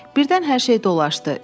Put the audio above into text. Birdən hər şey dolaşdı.